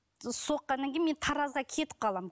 соққаннан кейін мен таразға кетіп қаламын